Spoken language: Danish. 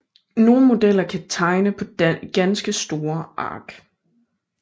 Nogle modeller kan tegne på ganske store ark